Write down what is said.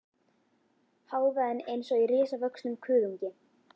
Hávaðinn eins og í risavöxnum kuðungi.